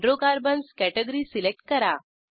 hydrocarbons category select करा